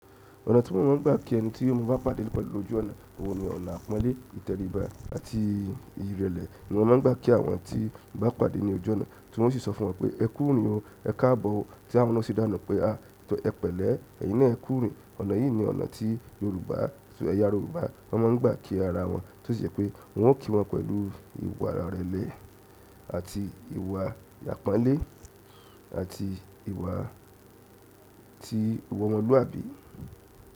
Ọ̀nà tí wọ́n máa ń gbà kí ẹni tí mó bá pàdé pẹ̀lú lojú ọ̀nà, oun ni ọ̀nà, àpọ́nlé, ìtẹríba àti ìrẹ́lẹ̀ ni wọ́n máa ń gbà kí àwọn tí mo bá pàdé ní ojú ọ̀nà, tí oun sì sọ fún wọn pé ẹ kú ìrìn o, ẹ káàbọ̀ o, tí àwọn na o si dáun na pé a tọ ẹ pẹ̀lẹ́ ẹ̀yin náà ekú ìrìn. Ọ̀nà yìí ni ọ̀nà tí Yorùbá tò ẹ̀yà Yorùbá won máa ń gbà kí ara wọn, tí ó ṣe pé wọn ó kí wọn pẹ̀lú ìwà àràrlẹ́ àti ìwà àpọ́nlé àti ìwà tí ìwà omoluabi.